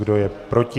Kdo je proti?